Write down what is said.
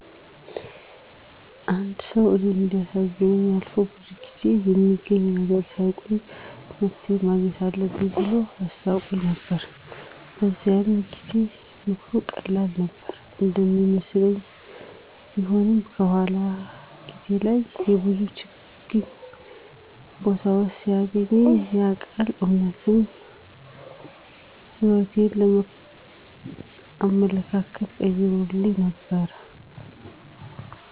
አንድ ሰው እኔን እንዲያሳዝነኝ አልፎ ብዙ ጊዜ በሚገኝ ነገር ሳይቆይ መፍትሄ ማግኘት አለብኝ ብሎ አስታወቀኝ ነበር። በዚያኑ ጊዜ ምክሩ ቀላል ነገር እንደሚመስለኝ ቢሆንም፣ በኋላ ጊዜ ላይ በብዙ ችግኝ ቦታዎች ሲያገኘኝ ያ ቃል እውነት የሕይወቴን አመለካከት ቀይሮብኝ ነበር።